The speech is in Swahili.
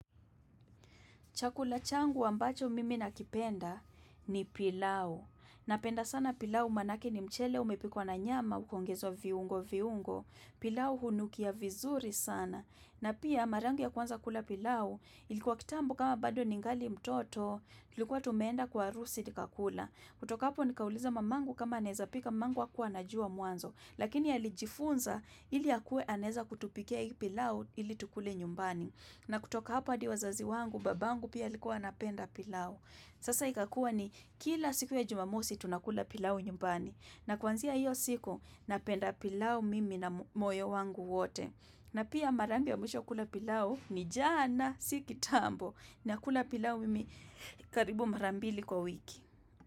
Chakula changu ambacho mimi nakipenda ni pilau. Napenda sana pilau manake ni mchele umepikwa na nyama ukaongezwa viungo viungo. Pilau hunukia vizuri sana. Na pia mara yangu ya kwanza kula pilau ilikuwa kitambo kama bado ningali mtoto ilikuwa tumeenda kwa harusi nikakula. Kutoka hapo nikauliza mamangu kama anaweza pika mamangu hakua anajuwa muanzo. Lakini alijifunza ili akuwe anaweza kutupikia hii pilau ili tukule nyumbani. Na kutoka hapa hadi wazazi wangu, babangu pia alikuwa anapenda pilau. Sasa ikakuwa ni kila siku ya jumamosi tunakula pilau nyumbani. Na kwanzia hiyo siku napenda pilau mimi na moyo wangu wote. Na pia mara yangu ya mwisho kula pilau ni jana si kitambo. Nakula pilau mimi karibu mara mbili kwa wiki.